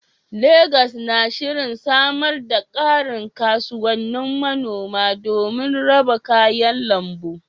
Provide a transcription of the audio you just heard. Legas na shirin samar da ƙarin kasuwannin manoma domin raba kayan lambu.